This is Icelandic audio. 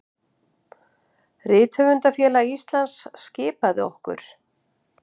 Rithöfundafélag Íslands skipaði okkur